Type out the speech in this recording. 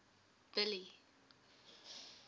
billy